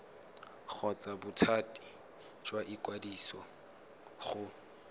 kgotsa bothati jwa ikwadiso go